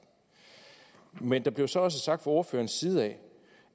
men der blev så også sagt fra ordførerens side